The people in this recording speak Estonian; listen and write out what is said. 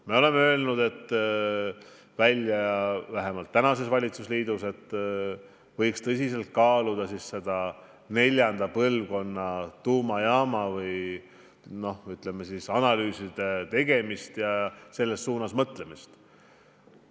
Me oleme välja öelnud, vähemalt praeguses valitsusliidus, et võiks tõsiselt kaaluda neljanda põlvkonna tuumajaama rajamise analüüsimist ja selles suunas mõtlemist.